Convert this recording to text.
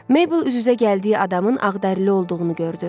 Meybl üz-üzə gəldiyi adamın ağdəri olduğunu gördü.